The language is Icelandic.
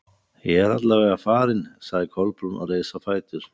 Ég er alla vega farin- sagði Kolbrún og reis á fætur.